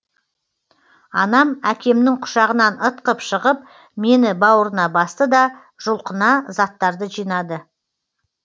анам әкемнің құшағынан ытқып шығып мені бауырына басты да жұлқына заттарды жинады